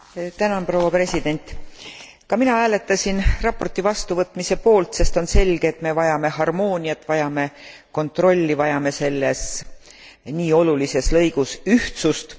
Ka mina hääletasin raporti vastuvõtmise poolt, sest on selge, et me vajame harmooniat, vajame kontrolli, vajame selles nii olulises lõigus ühtsust.